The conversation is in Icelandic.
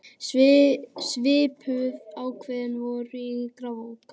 Svipuð ákvæði voru í Grágás.